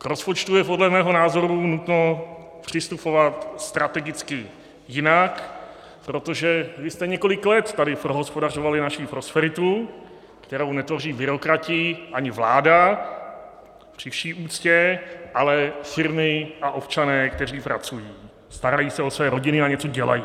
K rozpočtu je podle mého názoru nutno přistupovat strategicky jinak, protože vy jste několik let tady prohospodařovali naši prosperitu, kterou netvoří byrokrati ani vláda, při vší úctě, ale firmy a občané, kteří pracují, starají se o své rodiny a něco dělají.